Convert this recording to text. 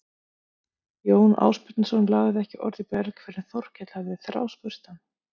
Jón Ásbjarnarson lagði ekki orð í belg fyrr en Þórkell hafði þráspurt hann.